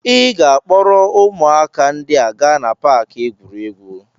Ị ga-akpọrọ ụmụaka ndị a gaa na paaki egwuregwu.